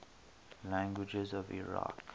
languages of iraq